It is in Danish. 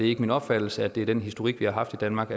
ikke min opfattelse at det er den historik vi har haft i danmark